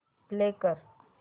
play कर